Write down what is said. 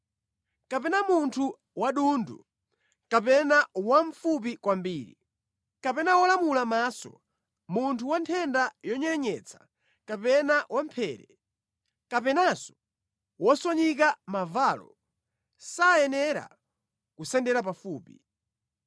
kapena munthu wokhota msana kapena wamfupi kwambiri, kapena wolumala maso, munthu wa nthenda yonyerenyetsa, kapena wamphere, kapenanso wophwanyika mavalo, sayenera kusendera pafupi.